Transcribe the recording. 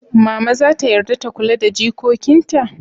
Mama zata yarda ta kula da jikokin ta?